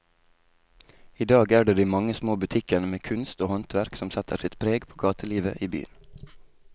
I dag er det de mange små butikkene med kunst og håndverk som setter sitt preg på gatelivet i byen.